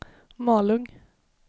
Malung